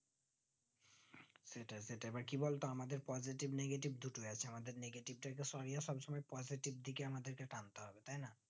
সেটাই এবার কি বলতো আমাদের positive negative ঢুকে আছে আমাদের negative টাকে সঙ্গে সব সময় positive দিকে আমাদের কে থাকতে হবে